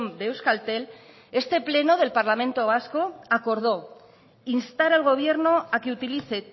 de euskaltel este pleno del parlamento vasco acordó instar al gobierno a que utilice